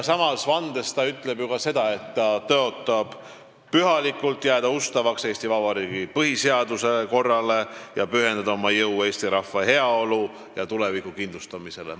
Samas vandes ütleb ta ju ka seda, et ta tõotab pühalikult jääda ustavaks Eesti Vabariigi põhiseaduslikule korrale ja pühendada oma jõu eesti rahva heaolu ja tuleviku kindlustamisele.